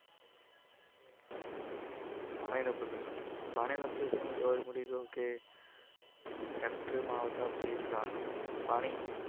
પાણી નું પૃદુસન પાણીનુનું પ્રદુસન factory આવતા જે પાણી